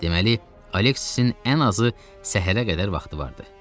Deməli, Aleksisin ən azı səhərə qədər vaxtı vardı.